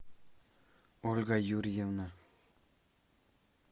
ольга юрьевна